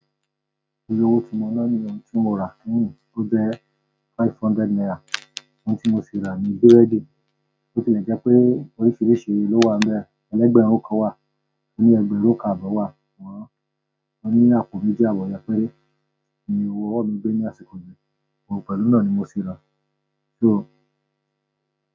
Iye owo ti mo na niyẹn n ti mo ra kẹ́yìn. Ó jẹ́ five hundred naira. Ohun tí mo si rà ni búrẹ́dì. Bo tilẹ jẹ́ pé oríṣìíríṣìí ló wà n bẹ̀. Elégbèrunkan wà, oní ẹgbẹrin kan àbọ̀ wà, ṣùgbọ́n oní àpò méjì àbọ̀ yẹn péré ni owó mj gbé ní àsìkò díẹ̀. Òun pẹ̀lú náà ni mo sì ra. So.